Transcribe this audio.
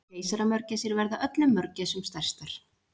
Keisaramörgæsir verða öllum mörgæsum stærstar.